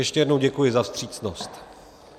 Ještě jednou děkuji za vstřícnost.